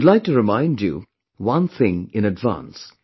I would like to remind you one thing in advance